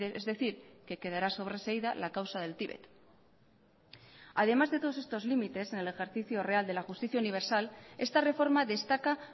es decir que quedará sobreseída la causa del tibet además de todos estos límites en el ejercicio real de la justicia universal esta reforma destaca